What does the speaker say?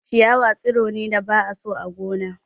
Ciyawa tsiro ne da ba a so a gona.